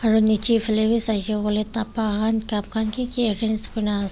aru nichey phale b saishe koile dabba khan cup khan ki ki kuri na as.